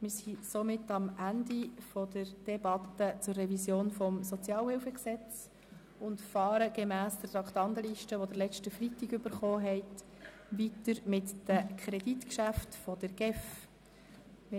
Wir sind somit am Ende der Debatte zur Revision des SHG angelangt und fahren gemäss Traktandenliste, die Sie am letzten Freitag erhalten haben, mit den Kreditgeschäften der GEF weiter.